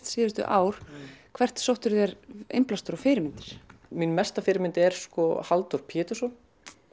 síðustu ár hvert sóttirðu þér innblástur og fyrirmyndir mín mesta fyrirmynd er Halldór Pétursson